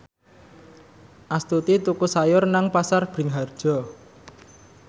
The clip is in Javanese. Astuti tuku sayur nang Pasar Bringharjo